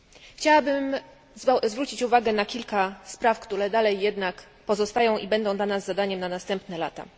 Chciałabym zwrócić uwagę na kilka spraw, które dalej jednak pozostają i będą dla nas zadaniem na następne lata.